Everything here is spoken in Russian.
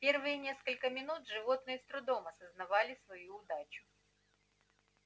первые несколько минут животные с трудом осознавали свою удачу